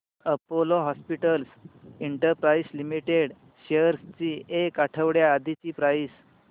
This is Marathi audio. Apollo Hospitals Enterprise Limited shares ची एक आठवड्या आधीची प्राइस